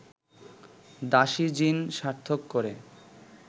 দাসী-জীন সার্থক করে